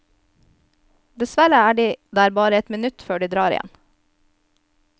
Dessverre er de der bare et minutt før de drar igjen.